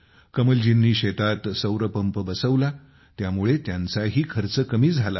कमलजींनी शेतात सौर पंप बसवला त्यामुळे त्यांचाही खर्च कमी झाला आहे